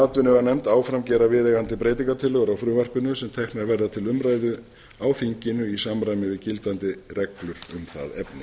atvinnuveganefnd áfram gera viðeigandi breytingartillögur á frumvarpinu sem teknar verða til umræðu á þinginu í samræmi við gildandi reglur um það efni